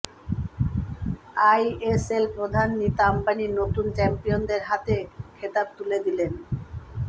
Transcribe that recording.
ISL প্রধান নীতা অম্বানি নতুন চ্যাম্পিয়নদের হাতে খেতাব তুলে দিলেন